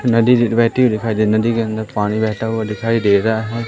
नदी बहती हुई दिखाई दे रही नदी के अंदर पानी बहता हुआ दिखाई दे रहा है।